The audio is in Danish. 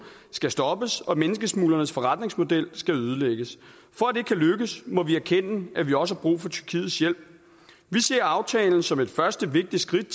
skal stoppes og at menneskesmuglernes forretningsmodel skal ødelægges for at det kan lykkes må vi erkende at vi også har brug for tyrkiets hjælp vi ser aftalen som et første vigtigt skridt